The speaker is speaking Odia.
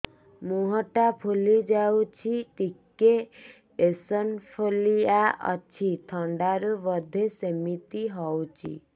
ମୁହଁ ଟା ଫୁଲି ଯାଉଛି ଟିକେ ଏଓସିନୋଫିଲିଆ ଅଛି ଥଣ୍ଡା ରୁ ବଧେ ସିମିତି ହଉଚି